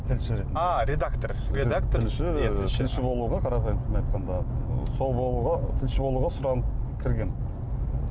тілші ретінде ааа редактор тілші болуға қарапайым тілмен айтқанда сол болуға тілші болуға сұранып кіргенмін